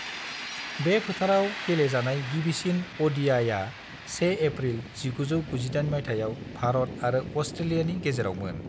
बे फोथाराव गेलेजानाय गिबिसिन अ.डि.आइ.आ 1 एप्रिल 1998 मायथाइयाव भारत आरो अस्ट्रेलियानि गेजेरावमोन।